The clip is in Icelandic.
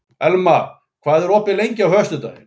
Elma, hvað er opið lengi á föstudaginn?